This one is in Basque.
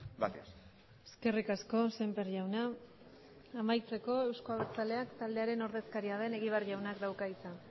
gracias eskerrik asko sémper jauna amaitzeko euzko abertzaleak taldearen ordezkaria den egibar jaunak dauka hitza